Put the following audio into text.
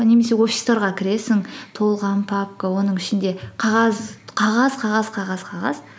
немесе офистарға кіресің толған папка оның ішінде қағаз қағаз қағаз қағаз қағаз